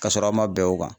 Ka sɔrɔ a ma bɛn o kan